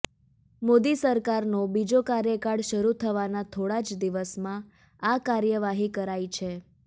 મોદી સરકારનો બીજો કાર્યકાળ શરૂ થવાના થોડા જ દિવસમાં આ કાર્યવાહી કરાઈ છે